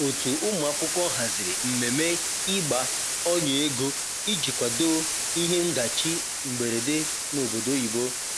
otu ụmụakwụkwọ haziri mmeme igba ọnya ego ịjị kwado ihe ndachi mgberede n'obodo oyibo